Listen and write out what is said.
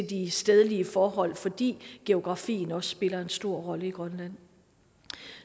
de stedlige forhold fordi geografien også spiller en stor rolle i grønland